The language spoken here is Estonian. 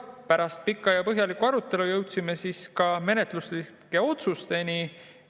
Pärast pikka ja põhjalikku arutelu jõudsime ka menetluslike otsusteni.